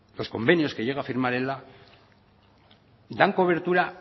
los convenios que llega a firma ela dan cobertura